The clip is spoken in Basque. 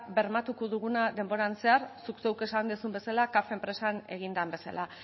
bermatuko duguna denboran zehar zuk zeuk esan duzun bezala caf enpresan egin den bezala